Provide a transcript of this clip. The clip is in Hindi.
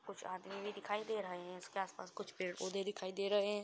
कुछ आदमी भी दिखाई दे रहे हैं इसके आस-पास कुछ पेड़-पौधे दिखाई दे रहे --